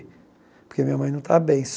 Porque minha mãe não está bem.